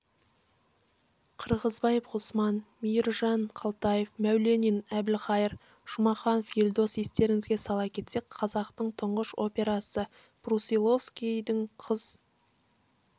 қырғызбаев ғұсман мейіржан қалтаев мәуленин әбілхайыр жұмаханов елдос естеріңізге сала кетсек қазақтың тұңғыш операсы брусиловскийдің қыз